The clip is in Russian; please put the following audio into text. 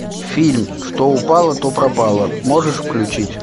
фильм что упало то пропало можешь включить